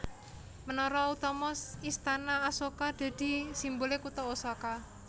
Menara utama Istana Asoka dadi simbole kutha Osaka